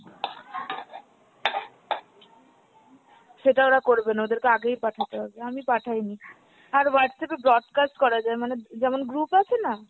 সেটা ওরা করবেনা ওদেরকে আগেই পাঠাতে হবে আমি পাঠাইনি। আর Whatsapp এ broadcast করা যায় মানে যেমন group আছে না,